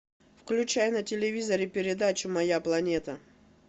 включай на телевизоре передачу моя планета